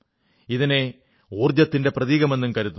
ഇതിനെ ഊർജ്ജത്തിന്റെ പ്രതീകമെന്നും കരുതുന്നു